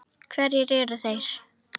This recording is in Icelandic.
Hverjir eru þeir?